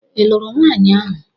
Ị lụrụ nwanyi ahu?